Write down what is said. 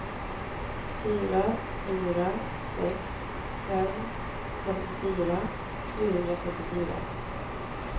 fyra fyra sex fem femtiofyra trehundrafyrtiofyra